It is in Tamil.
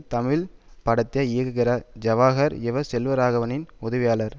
தமிழ் படத்தை இயக்குகிறவர் ஜவஹர் இவர் செல்வராகவனின் உதவியாளர்